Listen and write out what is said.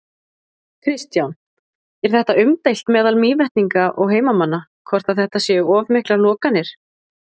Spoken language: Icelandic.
Kristján: Er þetta umdeilt meðal Mývetninga og heimamanna, hvort að þetta séu of miklar lokanir?